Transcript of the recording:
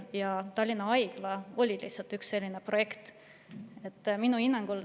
Ja Tallinna Haigla oli üks selline projekt.